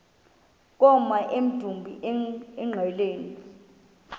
koma emdumbi engqeleni